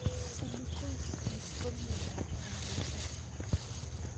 Silicosis ko miondop kapuset